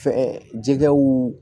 Fɛn jɛgɛw